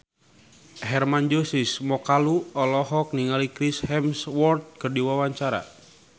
Hermann Josis Mokalu olohok ningali Chris Hemsworth keur diwawancara